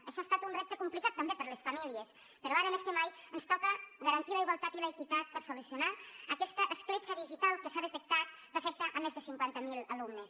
això ha estat un repte complicat també per a les famílies però ara més que mai ens toca garantir la igualtat i l’equitat per solucionar aquesta escletxa digital que s’ha detectat que afecta més de cinquanta mil alumnes